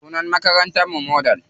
Sunan makarantar mu Model.